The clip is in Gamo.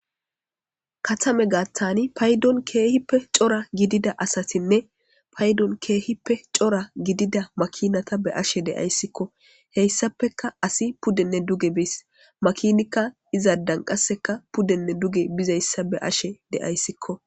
Katama giddoni kehippe cora gidida asatinne payidoni kehippe cora gidida makinata beashe deaisikko hesappeka asi pudenne duge beesi makinikka izadani pudenne duge bizayisa beeyashe deayisikko